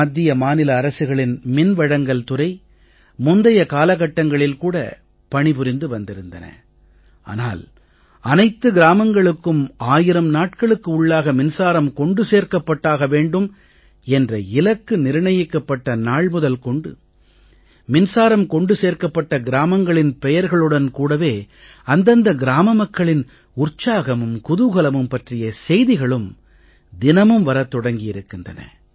மத்திய மாநில அரசுகளின் மின்வழங்கல் துறை முந்தைய காலகட்டங்களில் கூட பணி புரிந்து வந்திருந்தன ஆனால் அனைத்து கிராமங்களுக்கும் ஆயிரம் நாட்களுக்கு உள்ளாக மின்சாரம் கொண்டு சேர்க்கப்பட்டாக வேண்டும் என்ற இலக்கு நிர்ணயிக்கப் பட்ட நாள் முதல் கொண்டு மின்சாரம் கொண்டு சேர்க்கப்பட்ட கிராமங்களின் பெயர்களுடன் கூடவே அந்தந்த கிராம மக்களின் உற்சாகமும் குதூகலமும் பற்றிய செய்திகளும் தினமும் வரத் தொடங்கி இருக்கின்றன